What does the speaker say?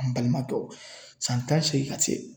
An balima dɔ san tan seegin ka se